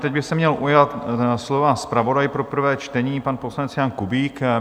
Teď by se měl ujmout slova zpravodaj pro prvé čtení, pan poslanec Jan Kubík.